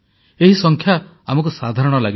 ଏହି ସଂଖ୍ୟା ଆମକୁ ସାଧାରଣ ଲାଗିପାରେ